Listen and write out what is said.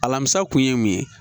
Alamisa kun ye mun ye